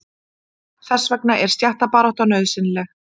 Þess vegna er stéttabarátta nauðsynleg.